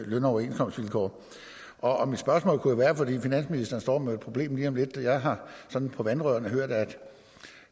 løn og overenskomstvilkår og finansministeren står med et problem lige om lidt jeg har sådan på vandrørene hørt at